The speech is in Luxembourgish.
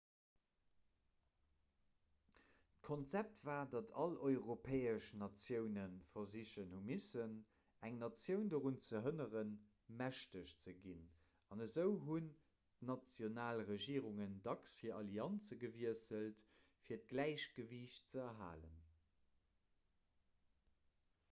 d'konzept war datt all europäesch natioune versichen hu missen eng natioun dorun ze hënneren mächteg ze ginn an esou hunn d'national regierungen dacks hir allianze gewiesselt fir d'gläichgewiicht ze erhalen